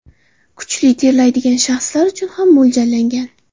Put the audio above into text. Kuchli terlaydigan shaxslar uchun ham mo‘ljallangan.